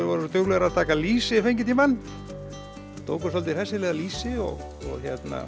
voru svo duglegar að taka lýsi yfir fengitímann tóku svolítið hressilega lýsi og